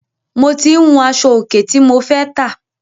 Mo tí ń wun aṣọ òkè tí mo fẹ́ tà.